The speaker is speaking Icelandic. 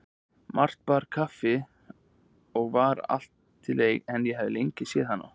Marta bar okkur kaffi og var altillegri en ég hafði lengi séð hana.